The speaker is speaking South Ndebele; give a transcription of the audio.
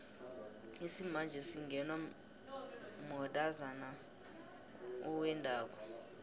lsimanje singenwa matozana vwendako